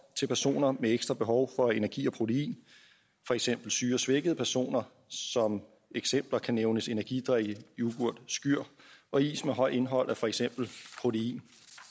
til personer med ekstra behov for energi og protein for eksempel syge og svækkede personer som eksempler kan nævnes energidrikke yoghurt skyr og is med højt indhold af for eksempel protein